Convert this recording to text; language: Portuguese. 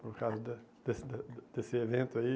Por causa da desse da da desse evento aí.